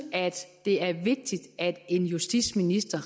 det er vigtigt at en justitsminister